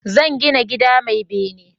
Zan gina gida mai bene